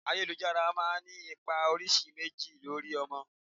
Ayélujára máa ń ní ipa oríṣi méjì lórí ọmọ.